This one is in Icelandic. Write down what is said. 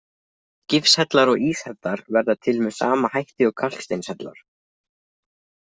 Gifshellar og íshellar verða til með sama hætti og kalksteinshellar.